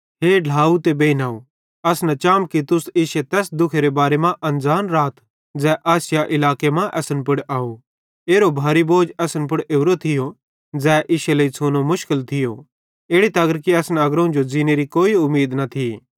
हे ढ्लाव ते बेइनव अस न चाम कि तुस इश्शे तैस दुखे करां अनज़ान राथ ज़ै आसिया इलाके मां असन पुड़ आव कि एरो भारी बोझ असन पुड़ ओरोए थियो ज़ै इश्शे लेइ छ़ूनो मुशकिल थियो इड़ी तगर कि असन अग्रोवं जो ज़ींनेरी कोई उमीद न थी